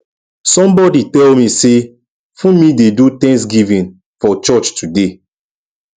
somebody tell me say funmi dey do thanksgiving for church today